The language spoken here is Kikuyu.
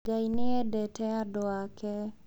Ngai nĩ endete andũ ake.